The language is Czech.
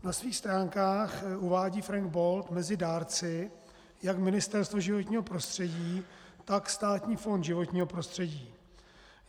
Na svých stránkách uvádí Frank Bold mezi dárci jak Ministerstvo životního prostředí, tak Státní fond životního prostředí.